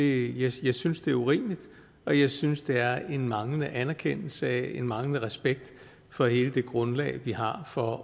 jeg synes det er urimeligt og jeg synes det er en manglende anerkendelse af og en manglende respekt for hele det grundlag vi har for